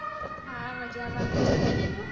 હા મજામાં